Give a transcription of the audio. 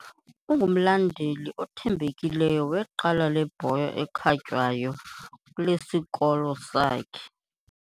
Ungumlandeli othembekileyo weqela lebhola ekhatywayo lesikolo sakhe.